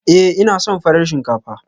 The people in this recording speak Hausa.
Ee, ina son farar shinkafa.